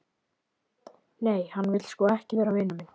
Nei, hann vill sko ekki vera vinur minn.